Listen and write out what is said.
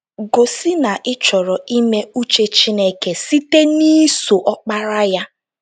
Gosị na ị chọrọ ime uche Chineke site n’iso Ọkpara ya.